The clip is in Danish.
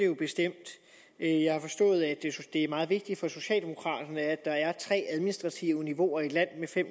jo bestemt jeg har forstået at det er meget vigtigt for socialdemokraterne at der er tre administrative niveauer i et land med fem